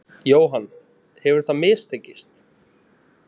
Jóhann: Hefur það mistekist?